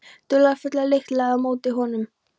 Dularfulla lykt lagði á móti honum.